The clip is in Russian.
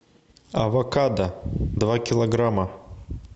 авокадо два килограмма